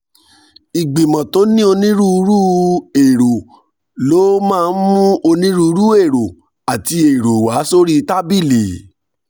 ìgbìmọ̀ tó ní onírúurú èrò ló máa ń mú onírúurú èrò àti èrò wá sórí tábìlì